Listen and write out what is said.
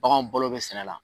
Baganw balo bɛ sɛnɛ la.